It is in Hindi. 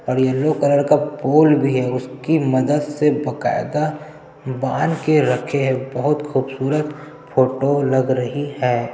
और येलो कलर का पोल भी है उसकी मदद से बकायदा बाँध के रखे है बहुत खूबसूरत फोटो लग रही हैं।